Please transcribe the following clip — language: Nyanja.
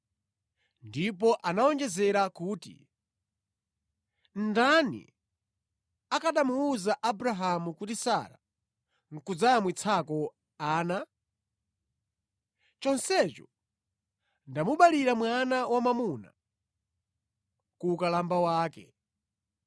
Ndipo anawonjezera kuti, “Ndani akanamuwuza Abrahamu kuti Sara nʼkudzayamwitsako ana? Chonsecho ndamubalira mwana wamwamuna kuwukalamba wake.”